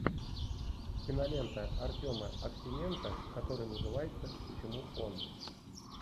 кинолента артема аксененко которая называется почему он